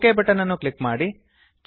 okay button ಅನ್ನು click ಮಾಡಿ